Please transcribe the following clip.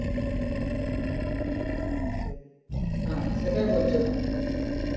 হ্যাঁ সেটাই বলছিলাম